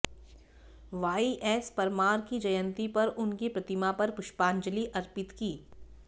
Y S Parmar की जयंती पर उनकी प्रतिमा पर पुष्पाजंलि अर्पित की